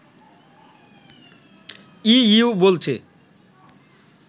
EU বলছে